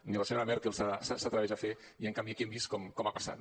ni la senyora merkel s’atreveix a fer i en canvi aquí hem vist com ha passat